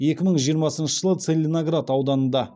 екі мың жиырмасыншы жылы целиноград ауданында